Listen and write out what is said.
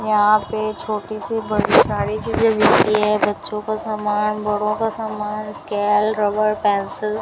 यहां पे छोटी सी बड़ी सारी चीजें मिलती हैं बच्चों का सामान बड़ों का सामान स्केल रबर पेंसिल ।